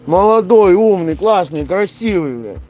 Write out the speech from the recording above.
молодой умный классный красивый бля